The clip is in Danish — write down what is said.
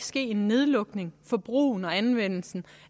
ske en nedlukning af brugen og anvendelsen